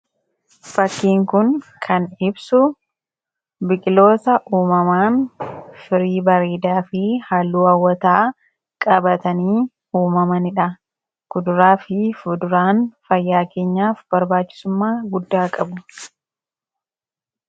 Fakkiin kun kan ibsu biqiloota uummamaan firii bareedaafi halluu haawwataa qabatanii uummamanidha. Kuduraafi fuduraan fayyaa keenyaaf barbaachisumma guddaa qabu.